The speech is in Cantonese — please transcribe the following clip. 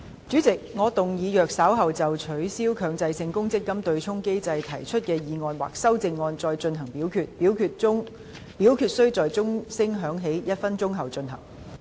主席，我動議若稍後就"取消強制性公積金對沖機制"所提出的議案或修正案再進行點名表決，表決須在鐘聲響起1分鐘後進行。